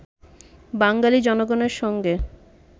বাঙালী জনগণের সঙ্গে